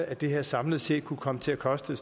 at det her samlet set kan komme til at koste